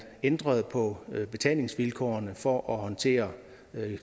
ændrede på betalingsvilkårene for at håndtere